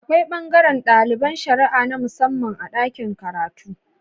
Akwai bangaran daliban shara'a na musamman a dakin karatu